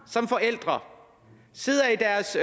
som forældre sidder i deres